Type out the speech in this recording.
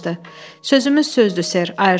Sözümüz sözdür, ser, Ayerton dedi.